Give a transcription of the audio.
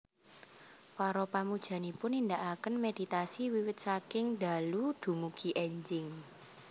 Para pamujanipun nindakaken méditasi wiwit saking dalu dumugi énjing